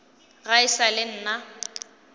ga e sa le nna